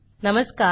नमस्कार